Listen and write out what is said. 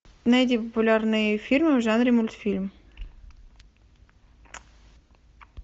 найди популярные фильмы в жанре мультфильм